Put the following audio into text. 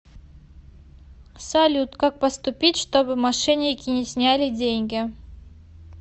салют как поступить чтобы мошенники не сняли деньги